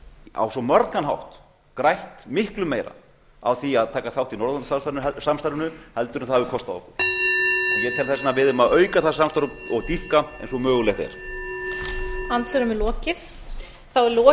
á svo margan hátt grætt miklu meira á því að taka þátt í norðurlandasamstarfinu heldur en það hafi kostað okkur ég tel þess vegna að við eigum að auka það samstarf og dýpka eins og mögulegt er